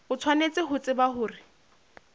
o tshwanetse ho tseba hore